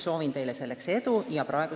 Soovin teile selleks edu!